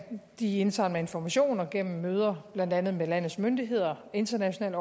de indsamler informationer gennem møder blandt andet med landets myndigheder internationale